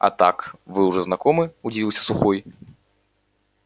а так вы уже знакомы удивился сухой